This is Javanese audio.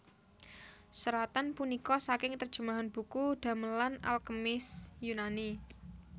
Seratan punika saking terjemahan buku damelan al kemis Yunani